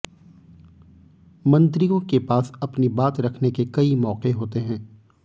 मंत्रियों के पास अपनी बात रखने के कई मौके होते हैं